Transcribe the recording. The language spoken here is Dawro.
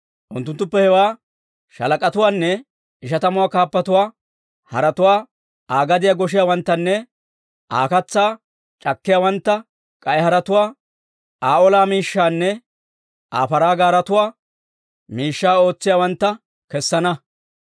Unttunttuppe hewaa shaalak'atuwaanne ishatamuwaa kaappatuwaa, haratuwaa Aa gadiyaa goshshiyaawanttanne Aa katsaa c'akkiyaawantta, k'ay haratuwaa Aa ola miishshaanne Aa paraa gaaretuwaa miishshaa ootsiyaawantta kessana.